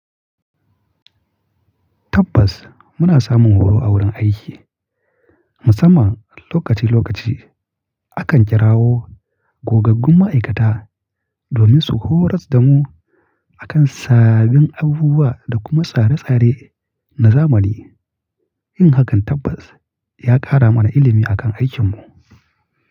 Tabbas muna samun horo a wurin aiki musamman lokaci lokaci. Akan kirawo gogaggun ma'aikata domin su horas damu akan sabbin abubuwa da kuma tsare tsare na zamani. Yin hakan tabbas ya kara mana ilimi akan aikinmu.